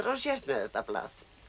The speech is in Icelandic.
sért með þetta blað